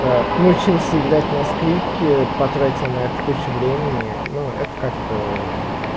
научился играть на скрипке потратил на эту кучу времени ну это как-то